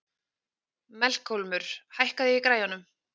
Melkólmur, hækkaðu í græjunum.